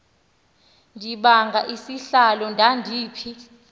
ndibanga isihlalo ndandiphi